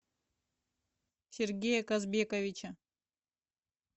сергея казбековича